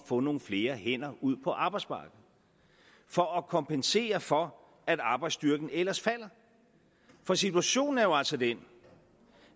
få nogle flere hænder ud på arbejdsmarkedet for at kompensere for at arbejdsstyrken ellers falder for situationen er jo altså den